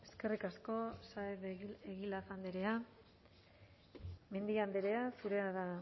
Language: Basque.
eskerrik asko saez de egilaz andrea mendia andrea zurea da